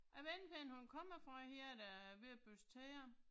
Jeg ved ikke henne hun kommer fra hende der er ved at børste tænder